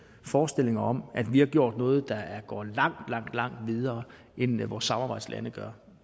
forestillinger derude om at vi har gjort noget der går langt langt videre end vores samarbejdslande gør